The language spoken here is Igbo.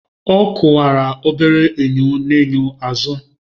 Ọ kwụwara obere enyo n'enyo n'azụ